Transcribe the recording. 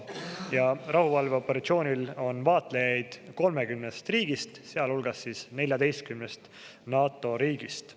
Sellel rahuvalveoperatsioonil on vaatlejaid 30 riigist, sealhulgas 14-st NATO riigist.